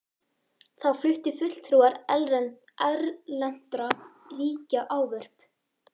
Þá fluttu fulltrúar erlendra ríkja ávörp.